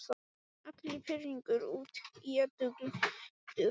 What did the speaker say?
Allur pirringur út í Eddu gleymdur.